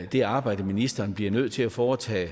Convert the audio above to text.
det arbejde ministeren bliver nødt til at foretage er